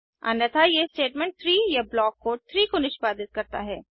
अन्यथा यह स्टेटमेंट 3 या ब्लॉक कोड 3 को निष्पादित करता है